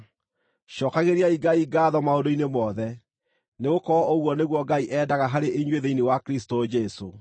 cookagĩriai Ngai ngaatho maũndũ-inĩ mothe, nĩgũkorwo ũguo nĩguo Ngai endaga harĩ inyuĩ thĩinĩ wa Kristũ Jesũ.